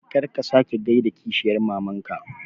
Kar ka sake gaida kishiyar mamanka